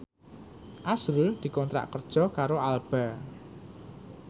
azrul dikontrak kerja karo Alba